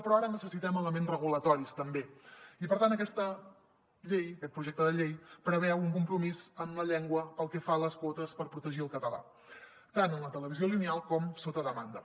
però ara necessitem elements regulatoris també i per tant aquesta llei aquest projecte de llei preveu un compromís amb la llengua pel que fa a les quotes per protegir el català tant en la televisió lineal com sota demanda